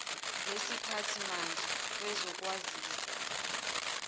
lesiphathi mandla kwezokwazisa